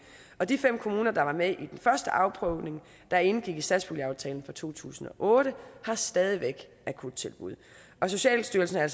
og de fem kommuner der var med i den første afprøvning der indgik i satspuljeaftalen fra to tusind og otte har stadig væk akuttilbud socialstyrelsen er